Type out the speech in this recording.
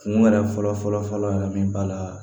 Kun yɛrɛ fɔlɔ fɔlɔ fɔlɔ yɛrɛ min b'a la